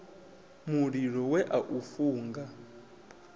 mulilo we a u funga